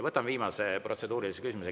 Võtan viimase protseduurilise küsimuse.